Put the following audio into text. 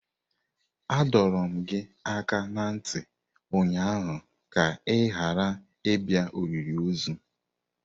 Adọrum gi aka na nti ụnyaahụ ka ị ghara ịbịa olili ozu!